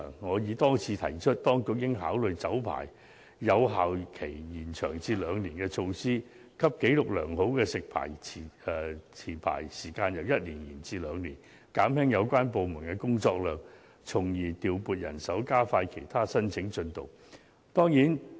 我已多次提出，當局應考慮把酒牌有效期延長至兩年，讓紀錄良好的食牌持牌時間由1年延長至兩年，減輕有關部門的工作量，從而調配人手，加快其他申請進度。